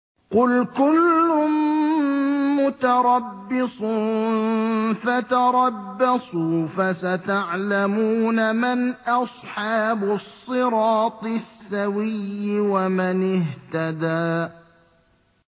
قُلْ كُلٌّ مُّتَرَبِّصٌ فَتَرَبَّصُوا ۖ فَسَتَعْلَمُونَ مَنْ أَصْحَابُ الصِّرَاطِ السَّوِيِّ وَمَنِ اهْتَدَىٰ